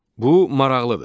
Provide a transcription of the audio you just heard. Bu maraqlıdır.